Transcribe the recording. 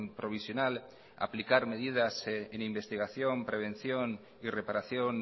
provisional aplicar medidas en investigación prevención y reparación